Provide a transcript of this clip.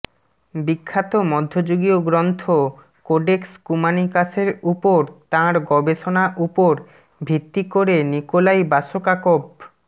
বিখ্যাত মধ্যযুগীয় গ্রন্থ কোডেক্স কুমানিকাসের উপর তাঁর গবেষণা উপর ভিত্তি করে নিকোলাই বাসকাকভ